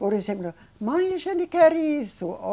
Por exemplo, mãe, a gente quer isso.